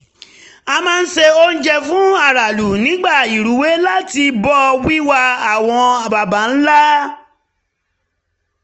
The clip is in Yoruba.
a máa ń se oúnjẹ fún aráàlú nígbà ìrúwé láti bọ̀ wíwà àwọn baba ńlá